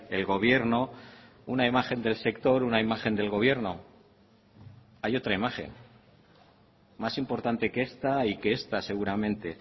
el gobierno una imagen del sector una imagen del gobierno hay otra imagen más importante que esta y que esta seguramente